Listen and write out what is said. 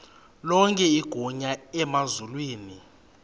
lonke igunya emazulwini